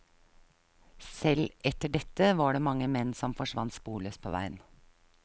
Selv etter dette var det mange menn som forsvant sporløst på veien.